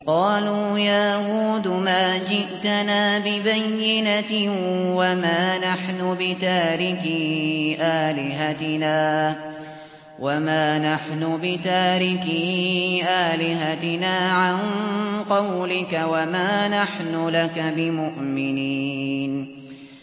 قَالُوا يَا هُودُ مَا جِئْتَنَا بِبَيِّنَةٍ وَمَا نَحْنُ بِتَارِكِي آلِهَتِنَا عَن قَوْلِكَ وَمَا نَحْنُ لَكَ بِمُؤْمِنِينَ